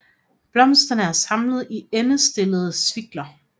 Blomsterne er samlet i endestillede svikler